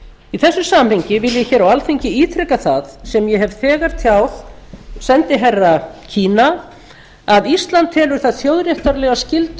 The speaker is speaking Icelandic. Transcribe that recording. í þessu samhengi vil ég hér á alþingi ítreka það sem ég hef þegar tjáð sendiherra kína að ísland telur það þjóðréttarlega skyldu